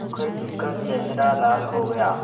मुखर्जी का चेहरा लाल हो गया